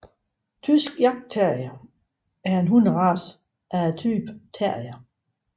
Tysk jagtterrier er en hunderace af typen terrier